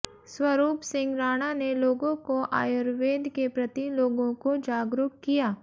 स्वरूप सिंह राणा ने लोगों को आयुर्वेद के प्रति लोगों को जागरूक किया